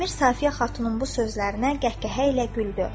Əmir Safiyə xatunun bu sözlərinə qəhqəhə ilə güldü.